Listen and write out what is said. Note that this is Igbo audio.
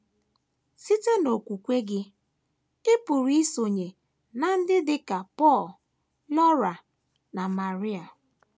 Site n’okwukwe gị, ị pụrụ isonye ná ndị dị ka Pọl, Laura, na María.